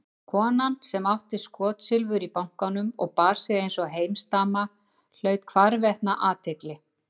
Kona sem átti skotsilfur í bankanum og bar sig einsog heimsdama hlaut hvarvetna athygli.